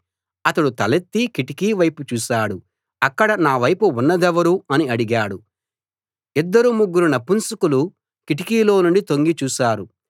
అతడు తలెత్తి కిటికీ వైపు చూశాడు అక్కడ నా వైపు ఉన్నదెవరు అని అడిగాడు ఇద్దరు ముగ్గురు నపుంసకులు కిటికీలోనుండి తొంగి చూసారు